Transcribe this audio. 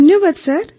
ଧନ୍ୟବାଦ ସାର୍